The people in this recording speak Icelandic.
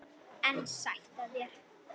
En sætt af þér!